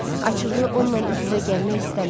Açıqı onunla üz-üzə gəlmək istəmirəm.